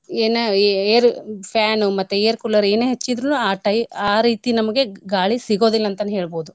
ಏನ ಎ~ air, fan, air cooler ಮತ್ತೆ ಏನೇ ಹಚ್ಚಿದ್ರುನು ಆ ಟೈ~ ಆ ರೀತಿ ನಮ್ಗೆ ಗಾಳಿ ಸಿಗೋದಿಲ್ ಅಂತನ ಹೇಳ್ಬೋದು.